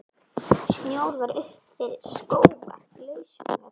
Snjór var upp fyrir skóvarp, lausamjöll.